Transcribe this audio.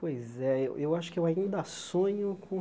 Pois é, eu eu acho que eu ainda sonho com...